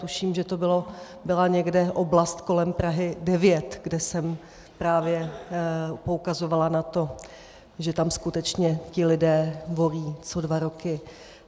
Tuším, že to byla někde oblast kolem Prahy 9, kde jsem právě poukazovala na to, že tam skutečně ti lidé volí co dva roky.